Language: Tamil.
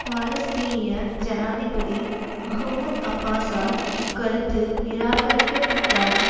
பாலஸ்தீனிய ஜனாதிபதி மஹ்மூத் அப்பாசால் இக்கருத்து நிராகரிக்கப்பட்டாலும்